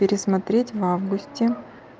пересмотреть в августе